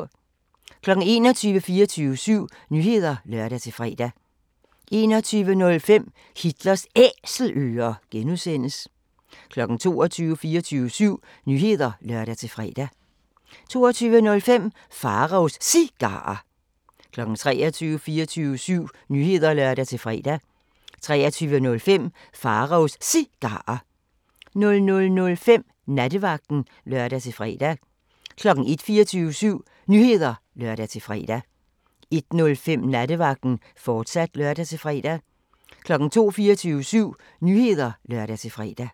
21:00: 24syv Nyheder (lør-fre) 21:05: Hitlers Æselører (G) 22:00: 24syv Nyheder (lør-fre) 22:05: Pharaos Cigarer 23:00: 24syv Nyheder (lør-fre) 23:05: Pharaos Cigarer 00:05: Nattevagten (lør-fre) 01:00: 24syv Nyheder (lør-fre) 01:05: Nattevagten, fortsat (lør-fre) 02:00: 24syv Nyheder (lør-fre)